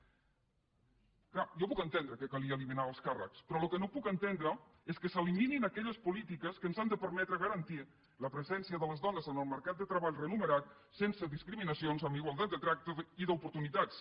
clar jo puc entendre que calia eliminar alts càrrecs però el que no puc entendre és que s’eliminin aquelles polítiques que ens han de permetre garantir la presència de les dones en el mercat de treball remunerat sense discriminacions amb igualtat de tracte i d’oportunitats